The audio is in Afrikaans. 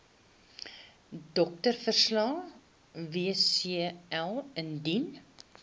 doktersverslag wcl indien